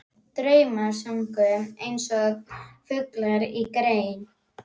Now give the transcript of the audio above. Draumar sungu einsog fuglar á grein.